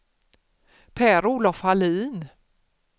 Per-Olof Hallin